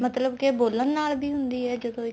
ਮਤਲਬ ਕੇ ਬੋਲਣ ਨਾਲ ਵੀ ਹੁੰਦੀ ਆ ਇਹ ਜਦੋਂ